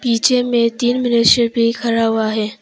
पीछे में तीन मनुष्य भी खड़ा हुआ है।